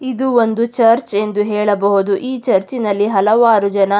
ಇದು ಒಂದು ಚರ್ಚ್ ಎಂದು ಹೇಳಬಹುದು ಈ ಚರ್ಚಿನಲ್ಲಿ ಹಲವಾರು ಜನ--